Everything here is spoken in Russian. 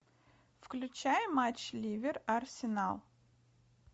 включай матч ливер арсенал